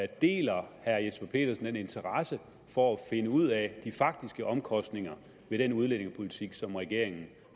deler herre jesper petersen den interesse for at finde ud af de faktiske omkostninger ved den udlændingepolitik som regeringen